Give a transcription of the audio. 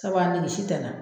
Sabu a nege si tɛ na